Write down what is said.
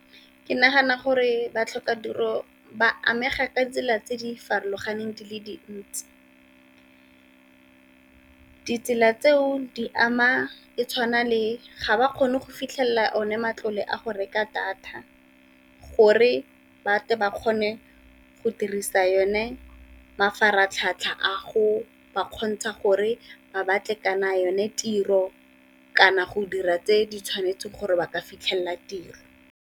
Ke nagana gore ba tlhoka tiro ba amega ka tsela tse di farologaneng di le dintsi, ditsela tseo di ama e tshwana le ga ba kgone go fitlhelela one matlole a go reka data, gore batle ba kgone go dirisa yone mafaratlhatlha a go ba kgontsha gore ba batle kana yone tiro, kana go dira tse di tshwanetseng gore ba ka fitlhelela tiro.